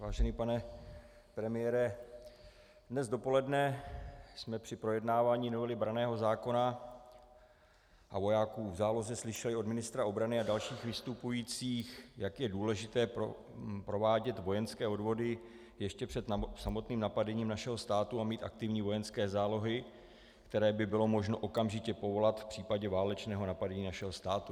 Vážený pane premiére, dnes dopoledne jsme při projednávání novely branného zákona a vojáků v záloze slyšeli od ministra obrany a dalších vystupujících, jak je důležité provádět vojenské odvody ještě před samotným napadením našeho státu a mít aktivní vojenské zálohy, které by bylo možno okamžitě povolat v případě válečného napadení našeho státu.